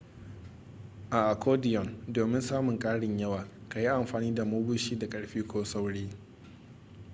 a accordion domin samun karin yawa ka yi amfani da mabushi da ƙarfi ko sauri